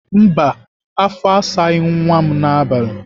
Mba afọ asaghị nwa m n'abalị.